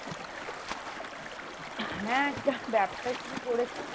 হ্যাঁ একটা ব্যবসা শুরু করেছি